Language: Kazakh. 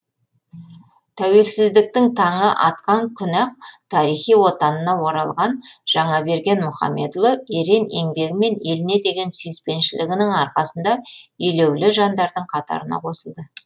тәуелсіздіктің таңы атқан күні ақ тарихи отанына оралған жаңаберген мұхамедұлы ерен еңбегі мен еліне деген сүйіспеншілігінің арқасында елеулі жандардың қатарына қосылды